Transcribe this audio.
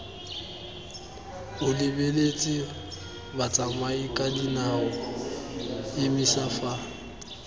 o lebeletse batsamayakadinao emisa fa